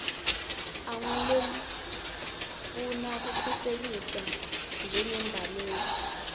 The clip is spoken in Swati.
angulofuna kukhuseliswa njengembaleki